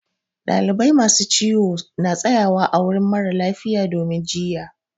Dalibai masu ciwo na tsaƴawa ã wurin mara lafiya domin jiƴƴa.